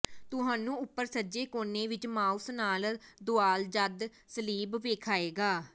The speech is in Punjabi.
ਤੁਹਾਨੂੰ ਉੱਪਰ ਸੱਜੇ ਕੋਨੇ ਵਿੱਚ ਮਾਊਸ ਨਾਲ ਦੁਆਲ ਜਦ ਸਲੀਬ ਵੇਖਾਏਗਾ